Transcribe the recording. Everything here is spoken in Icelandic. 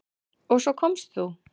Og svo komst þú!